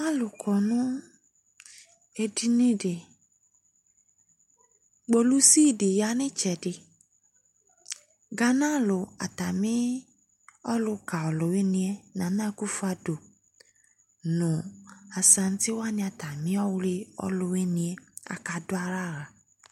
Alʋ kɔ nʋ edini dɩ: kpolusi dɩ ya n'ɩtsɛdɩ ; Ghana alʋ atamɩ ɔlʋka ɔlʋwɩnɩɛ Nana AKUFUADU nʋ Asaŋtɩ wanɩ atamɩ ɔwlɩ ɔlʋwɩnɩɛ aka dʋalɛ aɣla